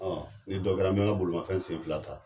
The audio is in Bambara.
ni dɔ kɛra n bɛ ka bolomafɛn senfila ta.